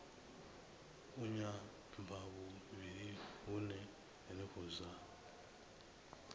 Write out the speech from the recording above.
a nyambahuvhili hune henefho zwa